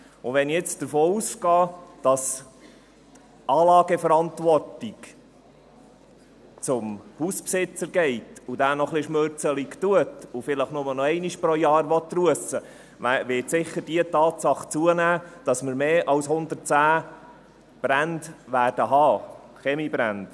Wenn ich davon ausgehe, dass die Anlageverantwortung an den Hausbesitzer übergeht, wenn dieser noch ein bisschen knauserig ist und vielleicht nur noch einmal im Jahr russen will, wird die Tatsache zunehmen, dass man mehr als 110 Brände, Kaminbrände, haben wird.